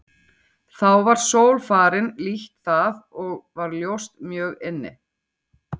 Þá var sól farin lítt það og var ljóst mjög inni.